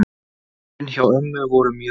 Árin hjá ömmu voru mjög góð.